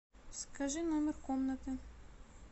скажи номер комнаты